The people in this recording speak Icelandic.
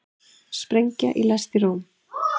Sprengja í lest í Róm